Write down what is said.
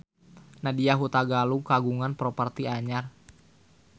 Nadya Hutagalung kagungan properti anyar